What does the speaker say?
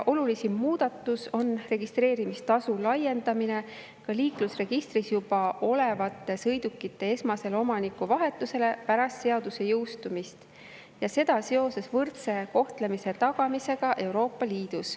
Olulisim muudatus on pärast seaduse jõustumist registreerimistasu laiendamine liiklusregistris juba olevate sõidukite esmasele omanikuvahetusele, ja seda seoses võrdse kohtlemise tagamisega Euroopa Liidus.